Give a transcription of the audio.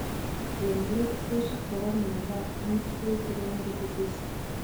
Eng' let kosub kora miondop End stage renal disease